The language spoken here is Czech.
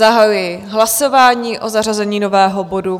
Zahajuji hlasování o zařazení nového bodu.